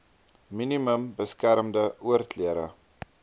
minimum beskermde oorklere